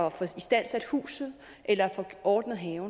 at få istandsat huset eller få ordnet haven